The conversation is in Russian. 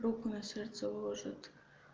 руку на сердце ложат